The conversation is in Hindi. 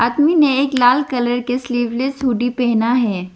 मि ने एक लाल कलर के स्लीवलेस हुडी पहना है।